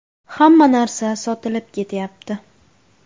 Hamma narsa sotilib ketyapti.